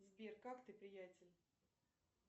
сбер как ты приятель